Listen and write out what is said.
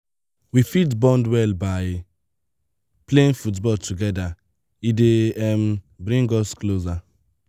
we fit bond well by playing football together e dey um bring us closer.